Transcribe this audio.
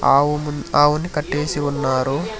ఆవుమున్ అవును ఆవులు కట్టేసి ఉన్నారు.